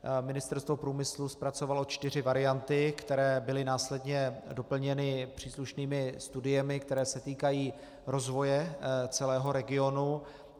Ministerstvo průmyslu zpracovalo čtyři varianty, které byly následně doplněny příslušnými studiemi, které se týkají rozvoje celého regionu.